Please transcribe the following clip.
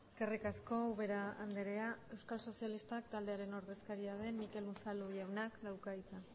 eskerrik asko ubera andrea euskal sozialistak taldearen ordezkaria den mikel unzalu jauna dauka hitza